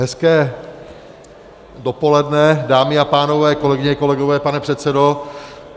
Hezké dopoledne, dámy a pánové, kolegyně, kolegové, pane předsedo.